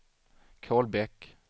Kolbäck